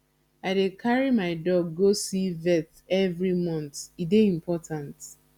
i dey carry my dog go see vet every month e dey important